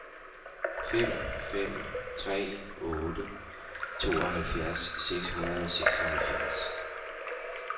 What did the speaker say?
fem fem tre otte tooghalvfjerds seks hundrede og seksoghalvfjerds